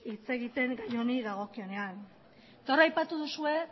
hitz egiten gai honi dagokionean eta hor aipatu duzue